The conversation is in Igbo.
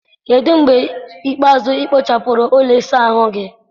kedụ mgbe ikpeazụ ị kpochapụrụ ụlọ ịsa ahụ gị?